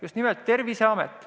Just nimelt Terviseamet.